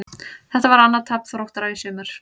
Þetta var annað tap Þróttara í sumar.